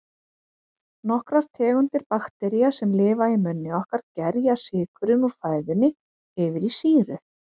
Nokkrar tegundir baktería, sem lifa í munni okkar, gerja sykurinn úr fæðunni yfir í sýru.